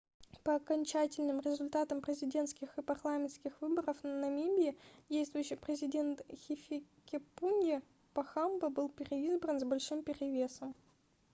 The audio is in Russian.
по окончательным результатам президентских и парламентских выборов намибии действующий президент хификепунье похамба был переизбран с большим перевесом